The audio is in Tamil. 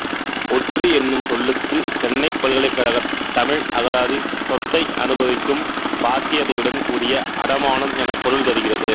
ஒற்றி என்னும் சொல்லுக்குச் சென்னைப் பல்கலைக்கழகத் தமிழ் அகராதி சொத்தை அனுபவிக்கும் பாத்தியதையுடன் கூடிய அடைமானம் எனப் பொருள் தருகிறது